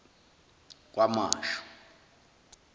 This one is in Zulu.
kwamashu